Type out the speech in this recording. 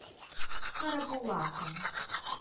карабулаком